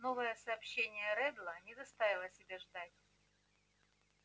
новое сообщение реддла не заставило себя ждать